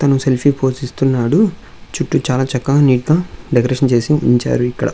తను సెల్ఫీ పోస్ఇస్తున్నాడు చుట్టూ చాలా చక్కగా నీట్ గ డెకరేషన్ చేసి ఉంచారు ఇక్కడ.